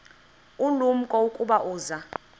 ulumko ukuba uza